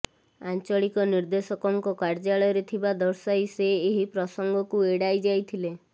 ଆଞ୍ଚଳିକ ନିର୍ଦେଶକଙ୍କ କାର୍ଯ୍ୟାଳୟରେ ଥିବା ଦର୍ଶାଇ ସେ ଏହି ପ୍ରସଙ୍ଗକୁ ଏଡ଼ାଇ ଯାଇଥିଲେ